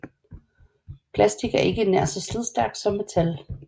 Plastik er ikke nær så slidstærkt som metal